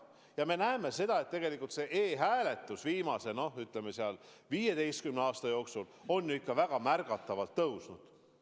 Ja me näeme seda, et tegelikult on e-hääletus viimase 15 aasta jooksul väga märgatavalt kasvanud.